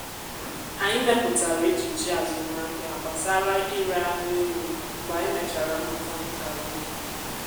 anyị mepụtara echiche azụmahịa gbasara ire anụ ewu mgbe anyị mechara mmụta nka ugbo.